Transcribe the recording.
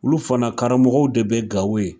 Olu fana karamɔgɔw de be Gawo yen.